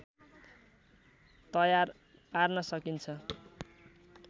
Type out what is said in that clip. तयार पार्न सकिन्छ